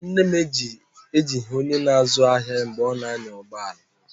Nne m ejighị onye na-azụ ahịa ya mgbe ọ na-anya ụgbọ ala.